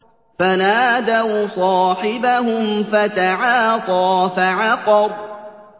فَنَادَوْا صَاحِبَهُمْ فَتَعَاطَىٰ فَعَقَرَ